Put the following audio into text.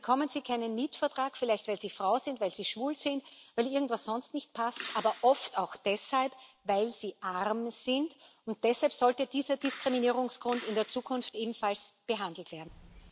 Dann bekommen sie keinen Mietvertrag, vielleicht weil sie Frau sind, weil sie schwul sind, weil irgendwas sonst nicht passt, aber oft auch deshalb, weil sie arm sind, und deshalb sollte dieser Diskriminierungsgrund in der Zukunft ebenfalls behandelt werden.